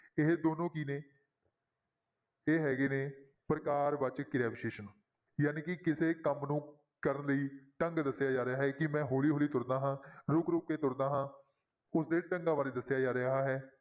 ਇਹ ਦੋਨੋਂ ਕੀ ਨੇ ਇਹ ਹੈਗੇ ਨੇ ਪ੍ਰਕਾਰ ਵਾਚਕ ਕਿਰਿਆ ਵਿਸ਼ੇਸ਼ਣ ਜਾਣੀ ਕਿ ਕਿਸੇ ਕੰਮ ਨੂੰ ਕਰਨ ਲਈ ਢੰਗ ਦੱਸਿਆ ਜਾ ਰਿਹਾ ਹੈ ਕਿ ਮੈਂ ਹੌਲੀ ਹੌਲੀ ਤੁਰਦਾ ਹਾਂ ਰੁੱਕ ਰੁੱਕ ਕੇ ਤੁਰਦਾ ਹਾਂ ਉਸਦੇ ਢੰਗਾਂ ਬਾਰੇ ਦੱਸਿਆ ਜਾ ਰਿਹਾ ਹੈ।